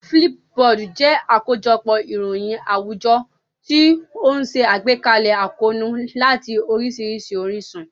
Flipboard jẹ́ àkójọpọ̀ ìròyìn àwùjọ tí ó ń ṣe àgbékalẹ̀ àkóónú láti oríṣiríṣi orísun.